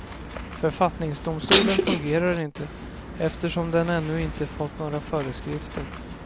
Författningsdomstolen fungerar inte, eftersom den ännu inte fått några föreskrifter.